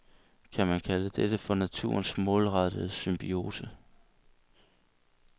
Kan man kalde dette for naturens målrettede symbiose?